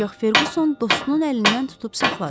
Ancaq Ferquson dostunun əlindən tutub saxladı.